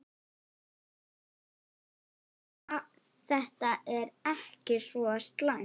Þetta er ekki svo slæmt.